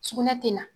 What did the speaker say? Sugunɛ tɛ na